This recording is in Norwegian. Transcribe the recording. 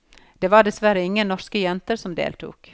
Det var dessverre ingen norske jenter som deltok.